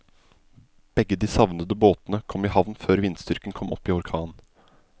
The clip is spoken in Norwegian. Begge de savnede båtene kom i havn før vindstyrken kom opp i orkan.